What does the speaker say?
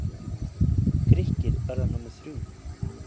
Grikkir verða númer þrjú.